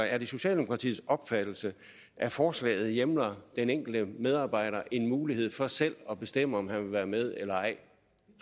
er det socialdemokratiets opfattelse at forslaget hjemler den enkelte medarbejder en mulighed for selv at bestemme om han vil være med eller ej